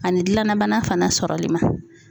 Ani gilanna bana fana sɔrɔli ma.